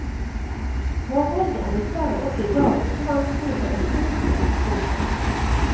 Forholdene er dessverre også i dag ofte vanskelige for autister. punktum